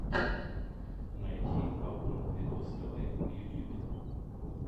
найти аур видос тв в ютюбе